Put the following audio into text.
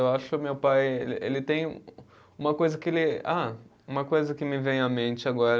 Eu acho que o meu pai, ele tem o, uma coisa que ele. Ah, uma coisa que me vem à mente agora